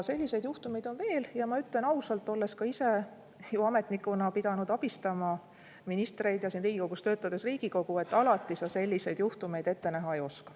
Selliseid juhtumeid on veel ja ma ütlen ausalt, olles ka ise ju ametnikuna pidanud abistama ministreid ja siin Riigikogus töötades Riigikogu, et alati sa selliseid juhtumeid ette näha ei oska.